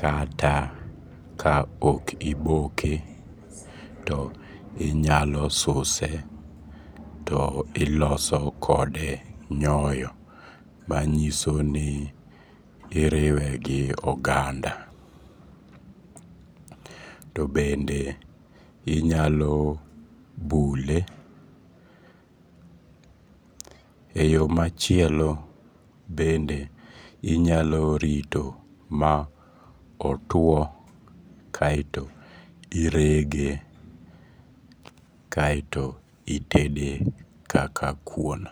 kata ka okiboke to inyalosuse to iloso kode nyoyo manyisoni iriwe gi oganda. To bende inyalo bule e yoo machielo bende inyalorito ma otuo kae to irege, kae to itede kaka kuon.